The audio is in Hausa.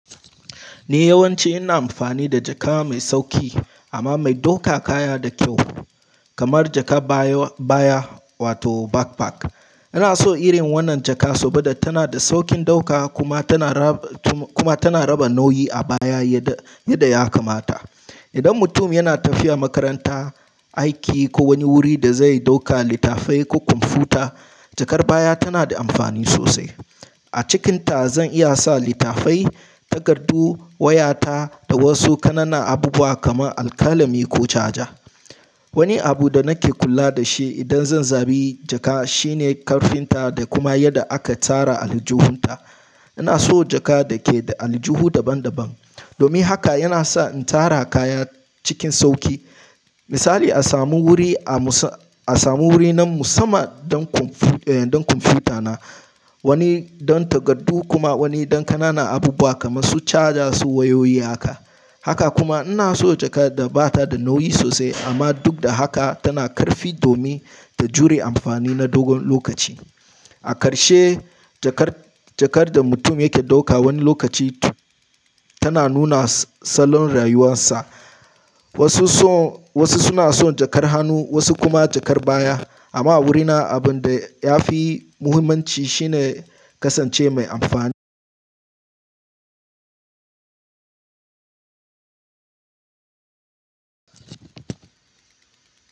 Ni yawanci ina amfani da jaka mai sauƙi amma mai ɗaukar kaya da kyau kamar jakar baya wato backpack. Ina so irin wannan jaka saboda tana da sauƙin ɗauka kuma tana raba nauyi a baya yadda ya kamata. Idan mutum yana tafiya makaranta, aiki ko wani wuri da zai ɗauka littafai ko kwamfuta, jakar baya tana da amfani sosai. A cikinta zan iya sa littafai, takardu, wayata da wasu ƙananan abubuwa kamar alkalami ko caja. Wani abu da nake kula da shi idan zan zaɓi jaka shine ƙarfinta da kuma yadda aka tsara aljuhunta. Ina so jaka da ke da aljuhu daban-daban. Domin haka yana sa in tsara kaya cikin sauƙi. Misali, a samu wuri na musamman don kwamfuta na, wani don takardu kuma wani don ƙananan abubuwa kamar su caja su wayoyi haka. Haka kuma ina so jaka da ba ta da nauyi sosai amma duk da haka tana da ƙarfi domin ta jure amfani na dogon lokaci. A ƙarshe, jakar, jakar da mutum yake ɗauka wani lokaci tana nuna salon rayuwarsa. Wasu suna son jakar hannu, wasu kuma jakar baya. Amma wurina abin da yafi muhimmanci shine kasance mai amfani.